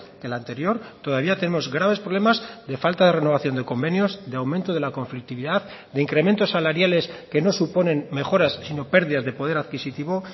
que el anterior todavía tenemos graves problemas de falta de renovación de convenios de aumento de la conflictividad de incrementos salariales que no suponen mejoras sino pérdidas de poder adquisitivo